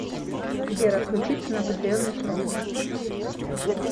сбер отключиться на определенный срок